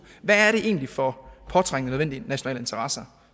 hvad er det egentlig for påtrængende nødvendige nationale interesser